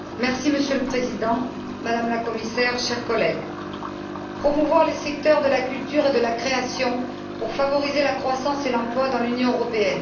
Monsieur le Président, Madame la Commissaire, chers collègues, promouvoir les secteurs de la culture et de la création pour favoriser la croissance et l'emploi dans l'Union européenne...